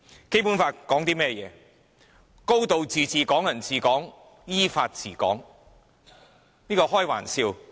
《基本法》訂明"高度自治"、"港人治港"、"依法治港"，根本是開玩笑。